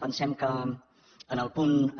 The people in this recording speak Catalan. pensem que en el punt